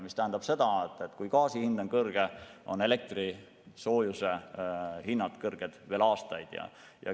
Mis tähendab seda, et kui gaasi hind on kõrge, on ka elektri ja soojuse hinnad kõrged veel aastaid.